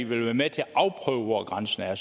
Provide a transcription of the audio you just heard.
vil være med til at afprøve hvor grænsen er